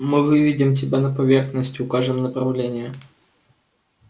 мы выведем тебя на поверхность и укажем направление